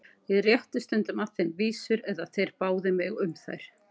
Ég rétti stundum að þeim vísur eða þeir báðu mig um þær.